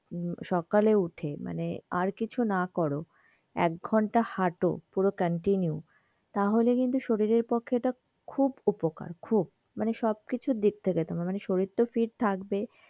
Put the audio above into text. সকালে উঠে মানে আর কিছু না করো এক ঘন্টা হাট পুরো continue তাহলে কিন্তু শরীরের পক্ষে এটা খুব উপকার খুব, সব কিছু দিক থেকে তোমার শরীর তো fit থাকবেই,